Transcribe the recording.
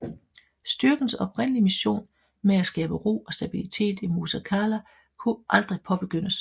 Styrkens oprindelige mission med at skabe ro og stabilitet i Musa Qala kunne aldrig påbegyndes